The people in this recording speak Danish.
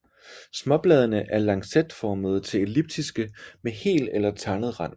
Småbladene er lancetformede til elliptiske med hel eller tandet rand